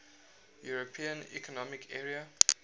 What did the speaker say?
european economic area